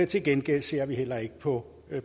til gengæld ser vi heller ikke på